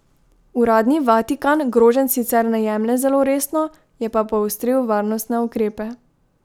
Uradni Vatikan groženj sicer ne jemlje zelo resno, je pa poostril varnostne ukrepe.